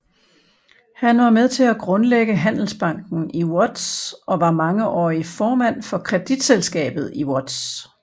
Han var med til at grundlægge Handelsbanken i Łódź og var mangeårig formand for Kreditselskabet i Łódź